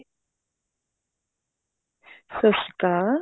ਸਤਿ ਸ਼੍ਰੀ ਅਕਾਲ